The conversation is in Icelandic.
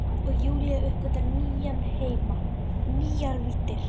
Og Júlía uppgötvaði nýja heima, nýjar víddir.